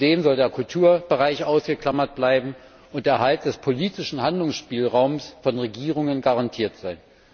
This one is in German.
Zudem soll der Kulturbereich ausgeklammert bleiben und der Erhalt des politischen Handlungsspielraums von Regierungen garantiert sein.